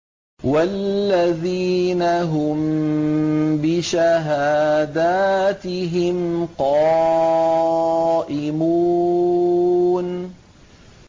وَالَّذِينَ هُم بِشَهَادَاتِهِمْ قَائِمُونَ